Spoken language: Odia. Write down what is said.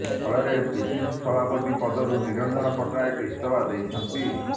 ଫଳରେ ପିସିସି ସଭାପତି ପଦରୁ ନିରଞ୍ଜନ ପଟ୍ଟନାୟକ ଇସ୍ତଫା ଦେଇଛନ୍ତି